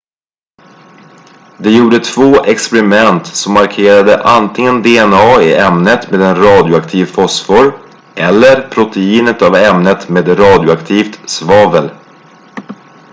de gjorde två experiment som markerade antingen dna i ämnet med en radioaktiv fosfor eller proteinet av ämnet med radioaktivt svavel